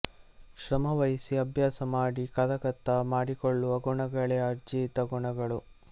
ಶ್ರಮ ವಹಿಸಿ ಅಭ್ಯಾಸ ಮಾಡಿ ಕರಗತ ಮಾಡಿಕೊಳ್ಳುವ ಗುಣಗಳೇ ಆರ್ಜಿತ ಗುಣಗಳು